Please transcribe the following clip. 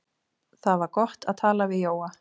Það var gott að tala við Jóa.